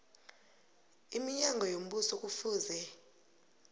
iminyango yombuso kufuze